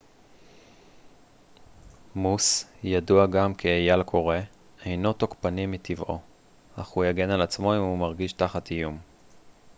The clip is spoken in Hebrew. מוס ידוע גם כאייל קורא אינו תוקפני מטבעו אך הוא יגן על עצמו אם הוא מרגיש תחת איום